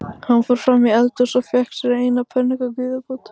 Hann fór fram í eldhús og fékk sér eina pönnuköku í viðbót